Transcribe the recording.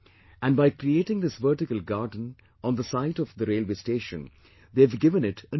And by creating this vertical garden on the site of railway station, they have given it a new look